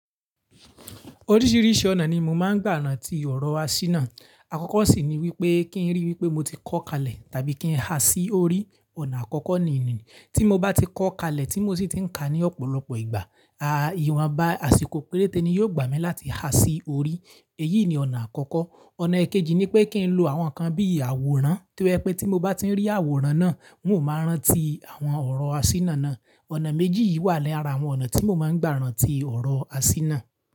Oríṣiríṣi ọ̀nà ni mo máa ń gbà ran ti ọ̀rọ̀ asínà. Àkọ́kọ́ sì ni wípé kí n ríi wípé mo ti kọ́ kalẹ̀ tàbí kí n ha sí orí, ọ̀nà àkọ́kọ́ nìyẹn. Tí mo bá ti kọ́ kalẹ̀ tí mo sì ti ń ka ní ọ̀pọ̀lọpọ̀ ìgbà, ìwà bá àsìkò péréte ni yóò gbà mí láti ha sí orí, èyí ni ọ̀nà àkọ́kọ́. Ọ̀nà kejì ni pé kí n lo àwọn nǹkan bí àwòrán, tí ó je pé tí mo bá ti rí àwòrán náà, n ó máa rántí àwọn ọ̀rọ̀ asínà náà. Ọ̀nà méjì yìí wà ní ara àwọn ọ̀nà tí mo máa ń gbà ran ti ọ̀rọ̀ asínà.